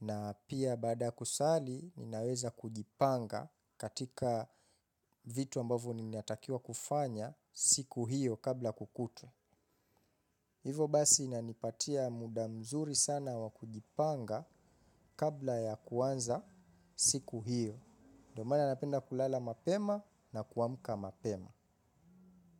na pia baada ya kusali ninaweza kujipanga katika vitu ambavyo ninatakiwa kufanya siku hiyo kabla kukutwe. Hivo basi inanipatia muda mzuri sana wakujipanga kabla ya kuanza siku hiyo. Ndio maana napenda kulala mapema na kuamka mapema.